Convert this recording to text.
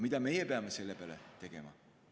Mida meie peame selle peale tegema?